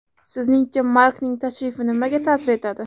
Sizningcha, Markning tashrifi nimaga ta’sir etadi?